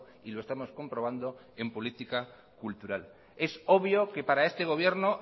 y lo estamos comprobando en política cultural es obvio que para este gobierno